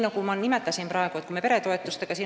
Ma juba nimetasin peretoetusi.